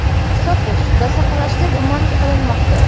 sotish va saqlashda gumon qilinmoqda.